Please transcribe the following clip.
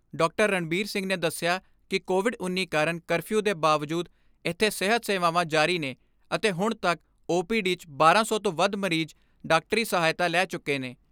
ਰਣਬੀਰ ਸਿੰਘ ਨੇ ਦਸਿਆ ਕਿ ਕੋਵਿਡ ਉੱਨੀ ਕਾਰਨ ਕਰਫਿਊ ਦੇ ਬਾਵਜੂਦ ਇਥੇ ਸਿਹਤ ਸੇਵਾਵਾਂ ਜਾਰੀ ਨੇ ਅਤੇ ਹੁਣ ਤੱਕ ਓ ਪੀ ਡੀ 'ਚ ਬਾਰਾਂ ਸੌ ਤੋਂ ਵੱਧ ਮਰੀਜ਼ ਡਾਕਟਰੀ ਸਹਾਇਤਾ ਲੈ ਚੁੱਕੇ ਨੇ।